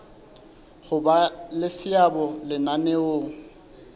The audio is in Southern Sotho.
ho ba le seabo lenaneong